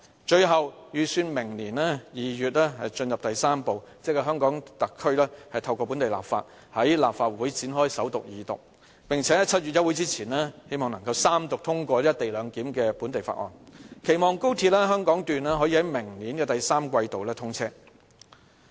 最後，預算明年2月進入第三步，即香港特區透過本地立法，在立法會展開首讀、二讀，並且在7月休會之前希望能夠三讀通過"一地兩檢"的本地法案，期望高鐵香港段可以在明年第三季度通車。